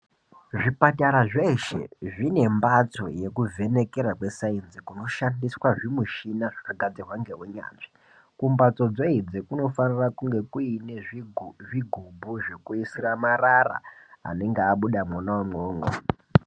Zvipatara zveshe zvine mbatsi yekuvhenekera kwesainzi zvinoshandiswa zvimishina zvakagadzirwa ngeunyanzvi. Kumbatso dzeidzi kunofanira kunge kuine zvigubhu zvekuisira marara anonga abuda mwona imwomwo.